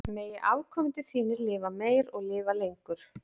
Megi afkomendur þínir lifa meir og lifa lengur.